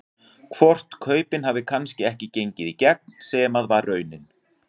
Hvort kaupin hafi kannski ekki gengið í gegn sem að var raunin?